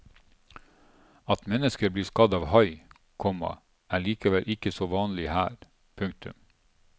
At mennesker blir skadet av hai, komma er likevel ikke så vanlig her. punktum